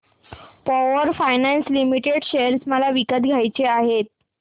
power finance corporation limited share मला विकत घ्यायचे आहेत